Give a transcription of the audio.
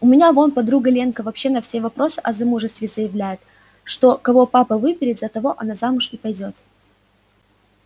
у меня вон подруга ленка вообще на все вопросы о замужестве заявляет что кого папа выберет за того она замуж и пойдёт